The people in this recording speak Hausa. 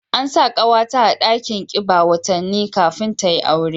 An sa kawata a dakin kiba watanni kafin ta yi aure